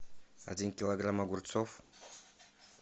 один килограмм огурцов